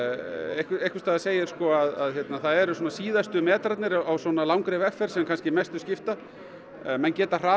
einhvers staðar segir að það eru síðustu metrarnir á svona langri vegferð sem kannski mestu skipta menn geta hrasað